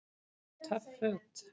Töff Föt